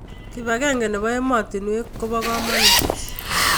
Kibakeng nebo ematunwek koba kananut